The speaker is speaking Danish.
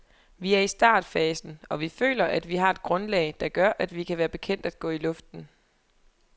Vi er i startfasen, og vi føler, at vi har et grundlag, der gør, at vi kan være bekendt at gå i luften.